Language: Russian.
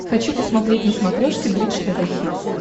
хочу посмотреть на смотрешке бридж тв хитс